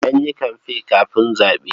Sai an yi kamfe kafin zaɓe.